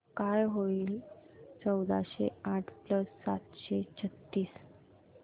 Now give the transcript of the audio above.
काय होईल चौदाशे आठ प्लस सातशे छ्त्तीस